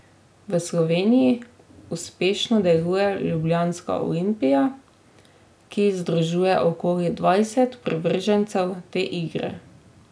V Sloveniji uspešno deluje ljubljanska Olimpija, ki združuje okoli dvajset privržencev te igre.